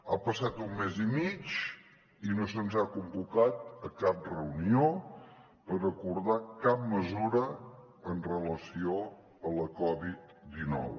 ha passat un mes i mig i no se’ns ha convocat a cap reunió per acordar cap mesura amb relació a la covid dinou